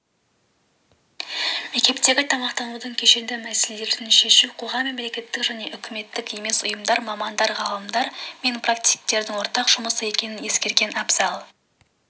мектептегі тамақтанудың кешенді мәселелерін шешу қоғам мемлекеттік және үкіметтік емес ұйымдар мамандар ғалымдар мен практиктердің ортақ жұмысы екенін ескерген абзал